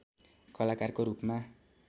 कलाकारको रूपमा